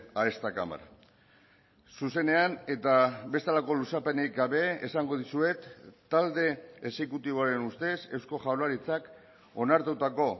a esta cámara zuzenean eta bestelako luzapenik gabe esango dizuet talde exekutiboaren ustez eusko jaurlaritzak onartutako